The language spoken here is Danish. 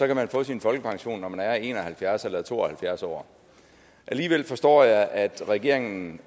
kan man få sin folkepension når man er en og halvfjerds eller to og halvfjerds år alligevel forstår jeg at regeringen